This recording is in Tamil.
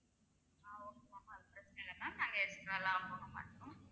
ஆஹ் okay ma'am பிரச்சினையில்ல ma'am நாங்க extra லாம் போகமாட்டோம்